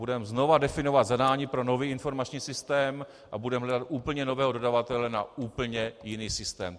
Budeme znovu definovat zadání pro nový informační systém a budeme hledat úplně nového dodavatele na úplně jiný systém.